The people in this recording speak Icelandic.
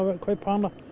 kaupa hana